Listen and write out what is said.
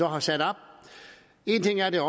har sat op en ting er at det